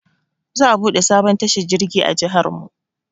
Za a buɗe sabon tashar jirgi a jiharmu.